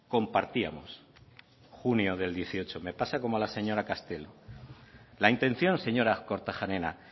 compartíamos junio del dos mil dieciocho me pasa como a la señora castelo la intención señora kortajarena